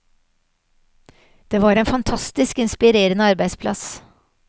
Det var en fantastisk inspirerende arbeidsplass.